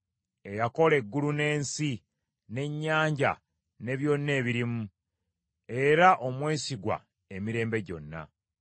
eyakola eggulu n’ensi n’ennyanja ne byonna ebirimu, era omwesigwa emirembe gyonna.